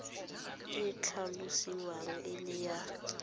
e tlhalosiwang e le ya